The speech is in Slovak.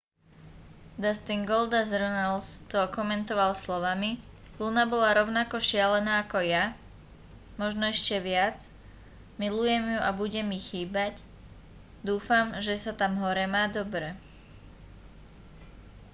dustin goldust runnels to okomentoval slovami luna bola rovnako šialená ako ja možno ešte viac milujem ju a bude mi chýbať dúfam že sa tam hore má dobre